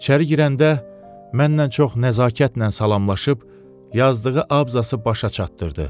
İçəri girəndə mənnən çox nəzakətlə salamlaşıb yazdığı abzası başa çatdırdı.